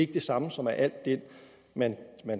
det samme som at alt det man